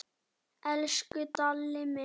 Elsku Dalli minn.